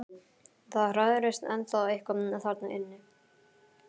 Það hrærist ennþá eitthvað þarna inni.